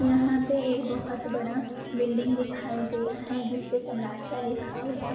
यहाँ पे एक बहोत बड़ा बिल्डिंग दिखाई दे रहा है जिसपे सम्राठिया लिखा हुआ है।